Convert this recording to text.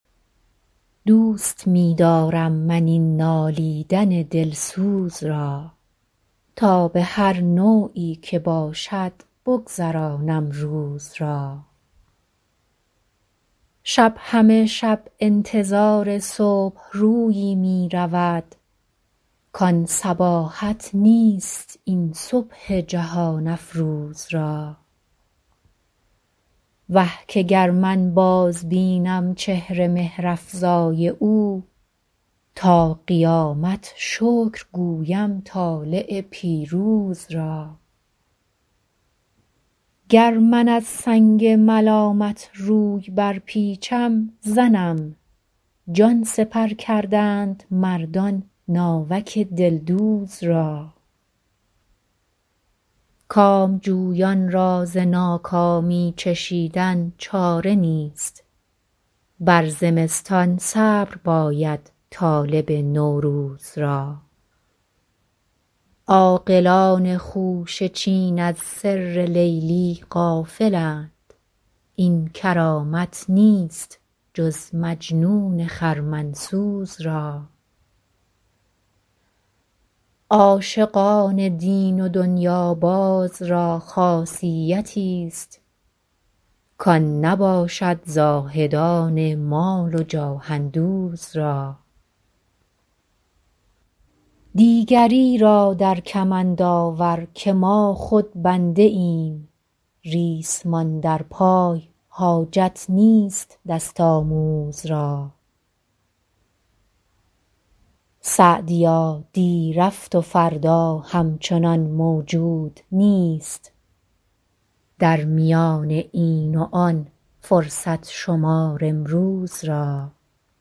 دوست می دارم من این نالیدن دلسوز را تا به هر نوعی که باشد بگذرانم روز را شب همه شب انتظار صبح رویی می رود کان صباحت نیست این صبح جهان افروز را وه که گر من بازبینم چهر مهرافزای او تا قیامت شکر گویم طالع پیروز را گر من از سنگ ملامت روی برپیچم زنم جان سپر کردند مردان ناوک دلدوز را کامجویان را ز ناکامی چشیدن چاره نیست بر زمستان صبر باید طالب نوروز را عاقلان خوشه چین از سر لیلی غافلند این کرامت نیست جز مجنون خرمن سوز را عاشقان دین و دنیاباز را خاصیتیست کان نباشد زاهدان مال و جاه اندوز را دیگری را در کمند آور که ما خود بنده ایم ریسمان در پای حاجت نیست دست آموز را سعدیا دی رفت و فردا همچنان موجود نیست در میان این و آن فرصت شمار امروز را